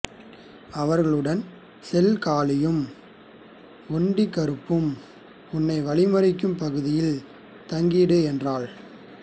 அவர்களுடன் செல் காளியும் ஒன்டி கருப்பும் உன்னை வழிமறிக்கும் பகுதியில் தங்கிடு என்றாள்